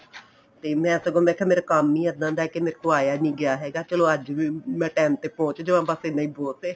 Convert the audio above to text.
ਤੇ ਮੈਂ ਸਗੋਂ ਮੈਂ ਕਿਹਾ ਮੇਰਾ ਕੰਮ ਹੀ ਇੱਦਾਂ ਏ ਕਿ ਮੇਰੇ ਤੋਂ ਆਇਆਂ ਨਹੀਂ ਗਿਆ ਹੈਗਾ ਚਲੋਂ ਅੱਜ ਵੀ ਮੈਂ time ਤੇ ਪਹੁੰਚ ਜਾਵਾਂ ਬੱਸ ਇੰਨਾ ਹੀ ਬਹੁਤ ਏ